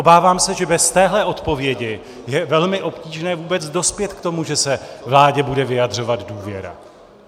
Obávám se, že bez téhle odpovědi je velmi obtížné vůbec dospět k tomu, že se vládě bude vyjadřovat důvěra.